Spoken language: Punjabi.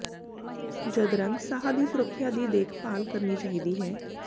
ਜਦ ਰੰਗ ਸਾਹ ਦੀ ਸੁਰੱਖਿਆ ਦੀ ਦੇਖਭਾਲ ਕਰਨੀ ਚਾਹੀਦੀ ਹੈ